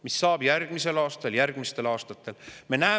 Mis saab järgmisel aastal, järgmistel aastatel?